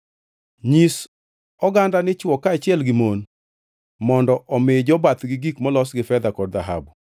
Nyis oganda ni chwo kaachiel gi mon mondo omi jobathgi gik molos gi fedha kod dhahabu.”